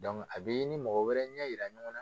a b'i ni mɔgɔ wɛrɛ ɲɛ yira ɲɔgɔn na